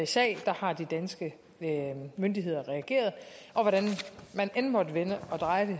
sag har de danske myndigheder reageret og hvordan man end måtte vende og dreje